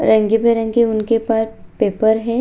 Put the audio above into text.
और रंग-बिरंगे उनके ऊपर पेपर है।